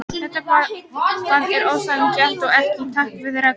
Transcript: Þetta bann er ósanngjarnt og ekki í takt við reglurnar.